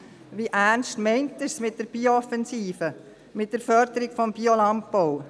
Wie ernst meint er es mit der Biooffensive, mit der Förderung des Biolandbaus?